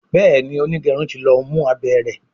Béèni onigerun tí ló mú abé rẹ.